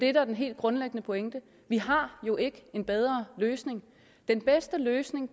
er den helt grundlæggende pointe vi har jo ikke en bedre løsning den bedste løsning